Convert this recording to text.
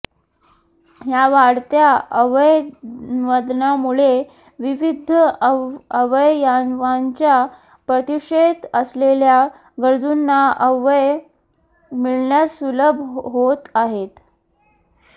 या वाढत्या अवयवदानामुळे विविध अवयवांच्या प्रतीक्षेत असलेल्या गरजूंना अवयव मिळण्यास सुलभ होत आहेत